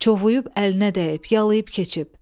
Çovuyub əlinə dəyib, yalıyıb keçib.